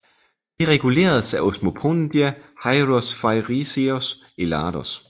Det reguleres af Omospondia Heirosfairiseos Ellados